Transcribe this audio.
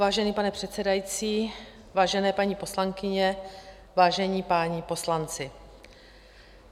Vážený pane předsedající, vážené paní poslankyně, vážení páni poslanci.